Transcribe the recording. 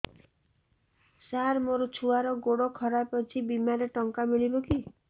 ସାର ମୋର ଛୁଆର ଗୋଡ ଖରାପ ଅଛି ବିମାରେ ଟଙ୍କା ମିଳିବ କି